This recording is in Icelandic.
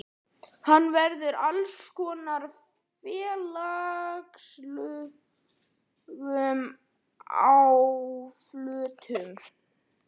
Hann verður fyrir alls konar félagslegum áföllum.